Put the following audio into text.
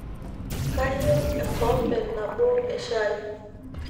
kayieu ekombee nabo eshai